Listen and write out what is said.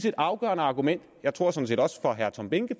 et afgørende argument jeg tror sådan set også for herre tom behnke